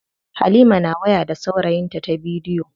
Halima na waya da saurayinta ta bidiyo.